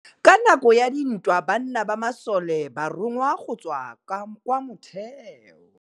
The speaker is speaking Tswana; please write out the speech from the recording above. Ka nakô ya dintwa banna ba masole ba rongwa go tswa kwa mothêô.